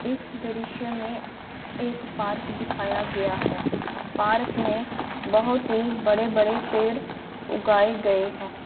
इस दृश्य में एक पार्क दिखया है पार्क में बहुत बड़े -बड़े पेड़ उगाया गया है।